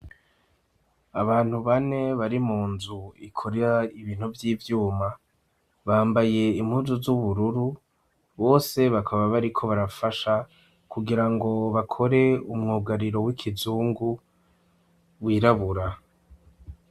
Abantu bane bari mu nzu ikora ibintu vy'ivyuma bambaye impuzu z'ubururu ,bose bakaba bariko barafasha kugira ngo bakore umwugariro w'ikizungu wirabura.